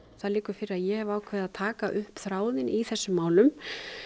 það liggur fyrir að ég hef ákveðið að taka upp þráðinn í þessum málum